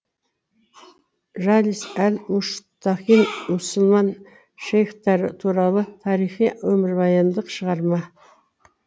жалис әл мұштақин мұсылман шейхтары туралы тарихи өмірбаяндық шығарма